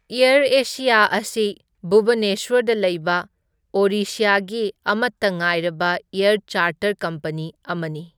Air Orissa ꯑꯁꯤ ꯚꯨꯕꯅꯦꯁ꯭ꯋꯔꯗ ꯂꯩꯕ ꯑꯣꯔꯤꯁ꯭ꯌꯥꯒꯤ ꯑꯃꯇ ꯉꯥꯏꯔꯕ ꯑꯦꯔ ꯆꯥꯔꯇꯔ ꯀꯝꯄꯅꯤ ꯑꯃꯅꯤ꯫